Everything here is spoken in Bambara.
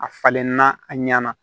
A falenna a ɲɛna